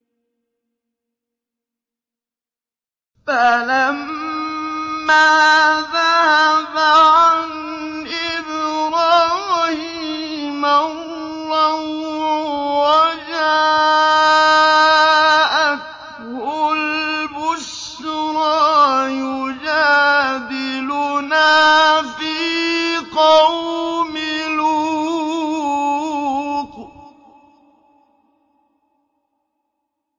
فَلَمَّا ذَهَبَ عَنْ إِبْرَاهِيمَ الرَّوْعُ وَجَاءَتْهُ الْبُشْرَىٰ يُجَادِلُنَا فِي قَوْمِ لُوطٍ